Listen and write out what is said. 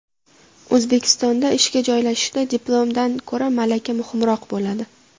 O‘zbekistonda ishga joylashishda diplomdan ko‘ra malaka muhimroq bo‘ladi.